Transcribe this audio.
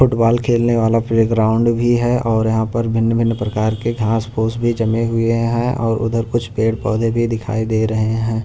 Football खेलने वाला playground भी है और यहां पर भिन्न-भिन्न प्रकार के घास पोस भी जमे हुए हैं और उधर कुछ पेड़-पौधे भी दिखाई दे रहे हैं।